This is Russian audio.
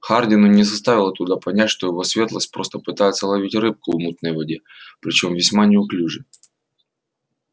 хардину не составило туда понять что его светлость просто пытается ловить рыбку в мутной воде причём весьма неуклюже